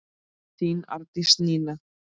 Þín Arndís Nína.